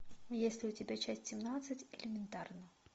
есть ли у тебя часть семнадцать элементарно